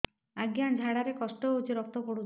ଅଜ୍ଞା ଝାଡା ରେ କଷ୍ଟ ହଉଚି ରକ୍ତ ପଡୁଛି